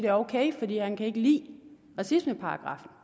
er ok fordi han ikke kan lide racismeparagraffen